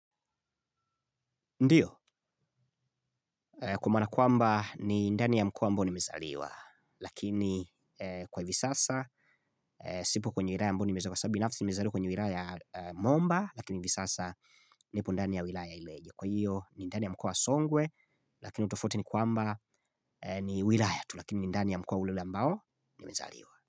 Ndiyo, kwa maana kwamba ni ndani ya mkoa ambao nimezaliwa, lakini kwa hivi sasa, sipo kwenye wilaya ambao nimezaliwa, kwa sabu binafsi nimezaliwa kwenye wilaya ya momba, lakini hivi sasa nipo ndani ya wilaya ileje. Kwa hiyo ni ndani ya mkoa wa songwe lakini tofauti ni kwamba ni wilaya tu lakini ndani ya mkoa ule ule ambao nimezaliwa.